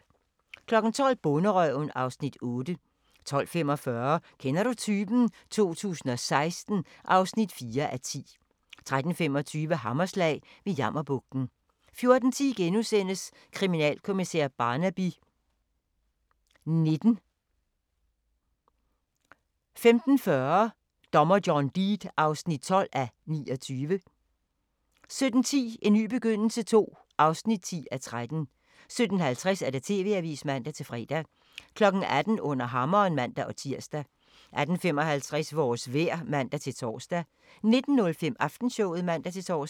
12:00: Bonderøven (Afs. 8) 12:45: Kender du typen? 2016 (4:10) 13:25: Hammerslag – ved Jammerbugten 14:10: Kriminalkommissær Barnaby XIX * 15:40: Dommer John Deed (12:29) 17:10: En ny begyndelse II (10:13) 17:50: TV-avisen (man-fre) 18:00: Under hammeren (man-tir) 18:55: Vores vejr (man-tor) 19:05: Aftenshowet (man-tor)